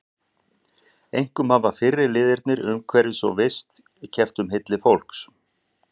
Einkum hafa fyrri liðirnir umhverfis- og vist- keppt um hylli fólks.